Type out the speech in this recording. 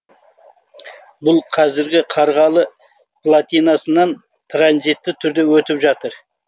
бұл қазіргі қарғалы платинасынан транзитті түрде өтіп жатыр